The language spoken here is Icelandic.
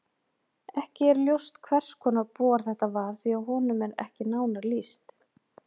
Ekki er ljóst hvers konar bor þetta var því að honum er ekki nánar lýst.